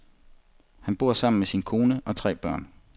Han bor sammen med sin kone og tre børn.